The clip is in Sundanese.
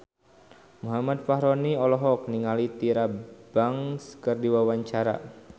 Muhammad Fachroni olohok ningali Tyra Banks keur diwawancara